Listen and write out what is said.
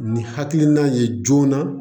Ni hakilina ye joona